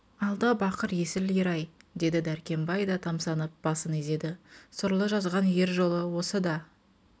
алда бақыр есіл ер-ай деді дәркембай да тамсанып басын изеді сорлы жазған ер жолы осы да